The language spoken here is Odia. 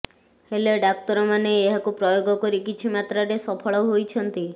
ହେଲେ ଡାକ୍ତରମାନେ ଏହାକୁ ପ୍ରୟୋଗ କରି କିଛି ମାତ୍ରାରେ ସଫଳ ହୋଇଛନ୍ତି